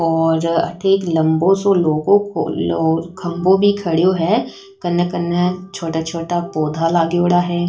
और अठ एक लम्बो सो लोह को खम्भों भी खड़ो है कने कने छोटा छोटा पौधा लागेयोड़ा है।